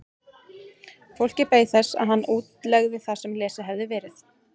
Fólkið beið þess að hann útlegði það sem lesið hafði verið.